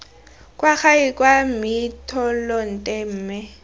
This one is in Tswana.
kwa gae kwa mmitolente mme